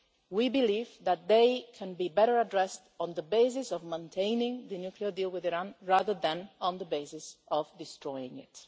We believe that they can be better addressed on the basis of maintaining the nuclear deal with Iran, rather than on the basis of destroying